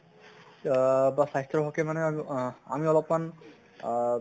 আহ বা স্বাস্থ্যৰ হʼকে মানে আহ আমি অলপ্মান অহ